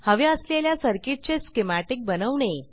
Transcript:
हव्या असलेल्या सर्किट चे स्कीमॅटिक बनवणे